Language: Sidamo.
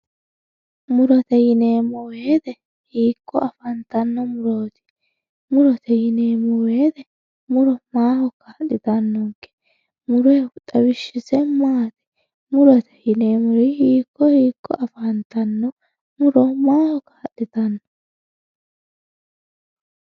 murote yineemmo woyte hiikko afantanno murooti murote yineemmo woyte muro maaho kaa'litannonke muroyhu xawishshise maati murote yinemmo woyte hiikko hiikko afantanno muro maaho kaa'litanno